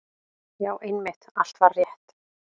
Já, einmitt, allt var rétt.